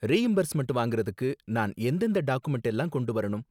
Reimbursement வாங்கறத்துக்கு நான் எந்ததெந்த டாக்குமென்ட் எல்லாம் கொண்டு வரணும்?